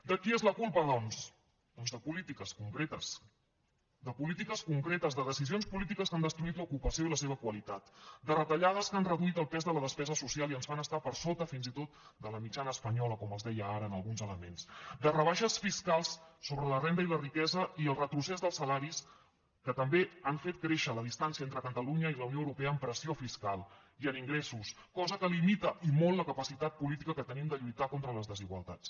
de qui és la culpa doncs doncs de polítiques concretes de polítiques concretes de decisions polítiques que han destruït l’ocupació i la seva qualitat de retallades que han reduït el pes de la despesa social i ens fan estar per sota fins i tot de la mitjana espanyola com els deia ara en alguns elements de rebaixes fiscals sobre la renda i la riquesa i el retrocés dels salaris que també han fet créixer la distància entre catalunya i la unió europea en pressió fiscal i en ingressos cosa que limita i molt la capacitat política que tenim de lluitar contra les desigualtats